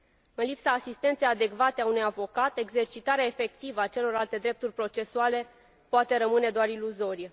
În lipsa asistenței adecvate a unui avocat, exercitarea efectivă a celorlalte drepturi procesuale poate rămâne doar iluzorie.